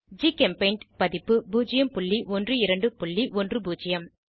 ஜிகெம்பெய்ண்ட் பதிப்பு 01210